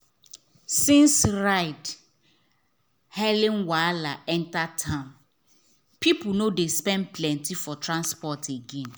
since ride-hailing wahala enter town people no dey spend plenty for transport again.